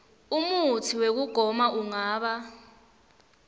umutsi wekugoma ungaba